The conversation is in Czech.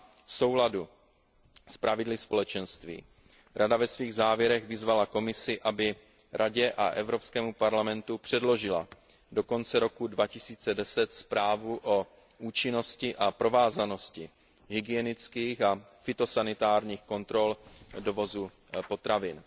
V souladu s pravidly Společenství Rada ve svých závěrech vyzvala Komisi, aby Radě a Evropskému parlamentu předložila do konce roku 2010 zprávu o účinnosti a provázanosti hygienických a fytosanitárních kontrol dovozu potravin.